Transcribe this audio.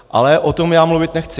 Ale o tom já mluvit nechci.